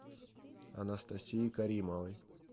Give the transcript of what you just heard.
анастасии каримовой